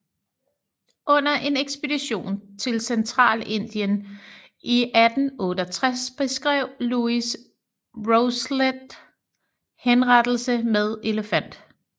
Under en ekspedition til Centralindien i 1868 beskrev Louis Rousselet henrettelse med elefant